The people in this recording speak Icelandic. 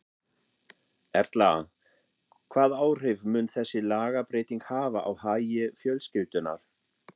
Erla, hvað áhrif mun þessi lagabreyting hafa á hagi fjölskyldunnar?